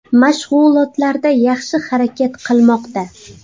Mashg‘ulotlarda yaxshi harakat qilmoqda.